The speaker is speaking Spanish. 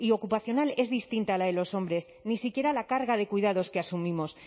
ocupacional es distinta a la de los hombres ni siquiera la carga de cuidados que asumimos